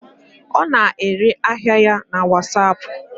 Ọ na-ere ahịa ya na wasapụ.